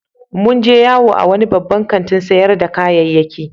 Mun je yawo a wani babban kantin sayar da kayyaki.